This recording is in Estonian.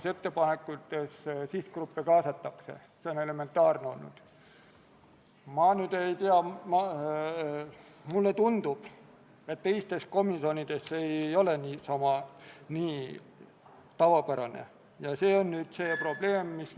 Kaitseväe tegevväelased jätkaksid arutluse all oleva Riigikogu otsuse eelnõu alusel panustamist NATO väljaõppe- ja nõustamismissiooni, mille oluline eesmärk on Afganistani riiklike julgeolekujõudude õpetamine.